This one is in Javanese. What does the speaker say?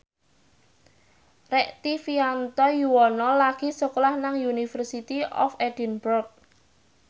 Rektivianto Yoewono lagi sekolah nang University of Edinburgh